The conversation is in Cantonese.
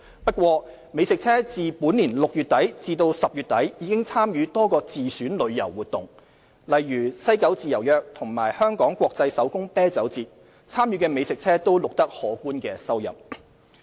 不過，美食車自本年6月底至10月底已參與多個自選旅遊活動，例如西九"自由約"及香港國際手工啤酒節，參與的美食車均錄得可觀收入。